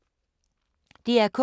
DR K